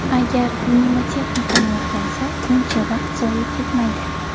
Agar mnemotexnikani o‘rgansa, buncha vaqt zoye ketmaydi.